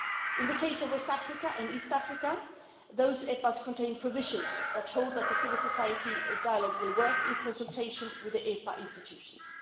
process. In the case of West Africa and East Africa, those EPAs contain provisions for the civil society dialogue to work in consultation with the EPA institutions.